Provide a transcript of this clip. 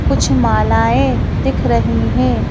कुछ मालाएं दिख रही हैं।